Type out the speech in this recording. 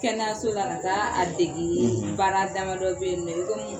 Kɛnɛyaso la ka taa a dege; baara dama dɔ bɛ yen nɔn i komi